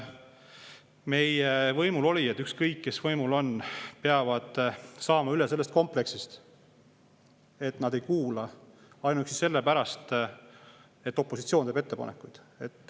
Võimulolijad, ükskõik, kes võimul on, peavad saama üle sellest kompleksist, et nad ei kuula ainuüksi selle pärast, et opositsioon teeb ettepanekuid.